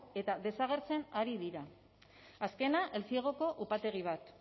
eta desagertzen ari dira azkena eltziegoko upategi bat